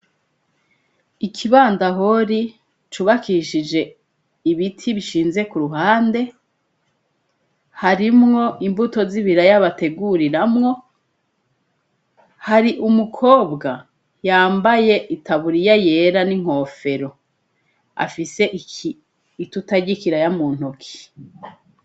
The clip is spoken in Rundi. Ikibandahori cubakishije ibiti bishinze ku ruhande, harimwo imbuto z'ibiraya bateguriramwo, hari umukobwa yambaye itaburiya yera n'inkofero, afise itota ry'ikiraya mu ntoke.